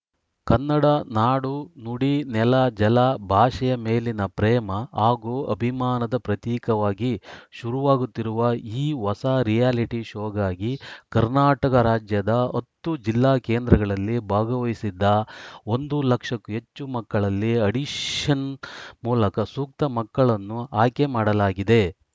ಕನ್ನಡ ನಾಡು ನುಡಿ ನೆಲ ಜಲ ಭಾಷೆಯ ಮೇಲಿನ ಪ್ರೇಮ ಹಾಗೂ ಅಭಿಮಾನದ ಪ್ರತೀಕವಾಗಿ ಶುರುವಾಗುತ್ತಿರುವ ಈ ಹೊಸ ರಿಯಾಲಿಟಿ ಶೋಗಾಗಿ ಕರ್ನಾಟಕ ರಾಜ್ಯದ ಹತ್ತು ಜಿಲ್ಲಾ ಕೇಂದ್ರಗಳಲ್ಲಿ ಭಾಗವಹಿಸಿದ್ದ ಒಂದು ಲಕ್ಷಕ್ಕೂ ಹೆಚ್ಚು ಮಕ್ಕಳಲ್ಲಿ ಅಡಿಷನ್‌ ಮೂಲಕ ಸೂಕ್ತ ಮಕ್ಕಳನ್ನು ಆಯ್ಕೆ ಮಾಡಲಾಗಿದೆ